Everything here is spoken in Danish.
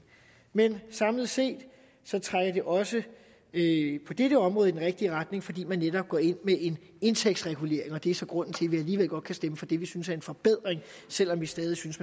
men samlet set trækker det også på dette område i den rigtige retning fordi man netop går ind med en indtægtsregulering og det er så grunden til at vi alligevel godt kan stemme for det som vi synes er en forbedring selv om vi stadig synes